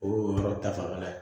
O y'o yɔrɔ ta fanfɛla ye